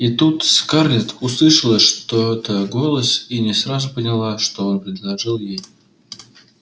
и тут скарлетт услышала что-то голос и не сразу поняла что он принадлежит ей